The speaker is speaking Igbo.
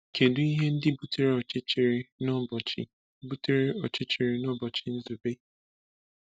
Kedu ihe ndị butere ọchịchịrị n’ụbọchị butere ọchịchịrị n’ụbọchị Nzube?